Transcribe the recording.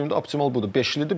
Mənim gördüyümdə optimal budur.